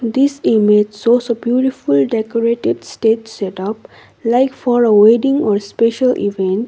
this image shows a beautiful decorative stage setup like for a wedding or special event.